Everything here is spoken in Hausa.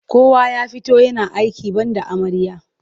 Kowa ya fito yana aiki banda amarya.